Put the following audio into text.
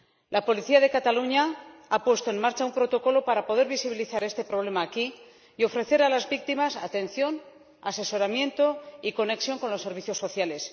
La policía de Cataluña ha puesto en marcha un protocolo para poder visibilizar este problema aquí y ofrecer a las víctimas atención, asesoramiento y conexión con los servicios sociales.